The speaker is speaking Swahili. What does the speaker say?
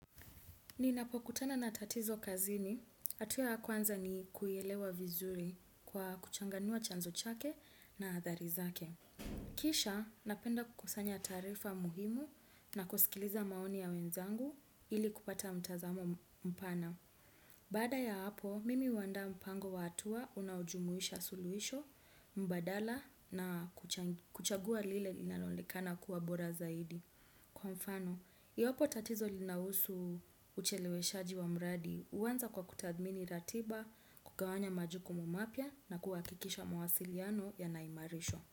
Ninapokutana na tatizo kazini, hatua ya kwanza ni kuielewa vizuri kwa kuchanganua chanzo chake na athari zake. Kisha, napenda kukusanya taarifa muhimu na kusikiliza maoni ya wenzangu ili kupata mtazamo mpana. Ninapokutana na tatizo kazini, hatua ya kwanza ni kuielewa vizuri kwa kuchanganua chanzo chake na athari zake. Kisha, napenda kukusanya taarifa muhimu na kusikiliza maoni ya wenzangu ili kupata mtazamo mpana.